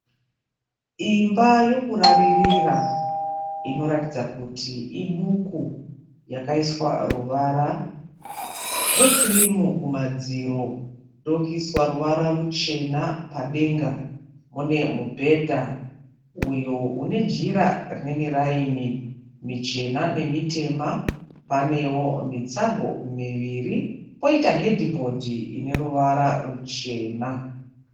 Imba yokuraririra inoratidza kuti iduku yakaiswa ruvara rwekirimu kumadziro ndokuiswa ruvara ruchena padenga. Mune mubhedha uyo une jira rine miraini michena nemitema. Panewo mitsago miviri poita hedhibhodhi ine ruvara ruchena.